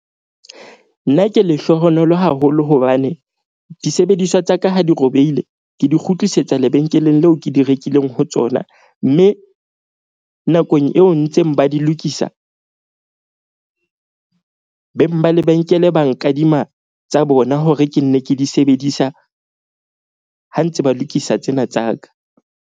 Nna ke lehlohonolo haholo hobane disebediswa tsa ka ha di robehile, ke di kgutlisetsa lebenkeleng leo ke di rekileng ho tsona. Mme nakong eo ntse beng ba di lokisa, beng ba lebenkele ba nkadima tsa bona hore ke nne ke di sebedisa ha ntse ba lokisa tsena tsa ka.